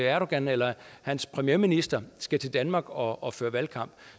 erdogan eller hans premierminister skal til danmark og og føre valgkamp